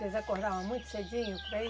Vocês acordavam muito cedinho para ir?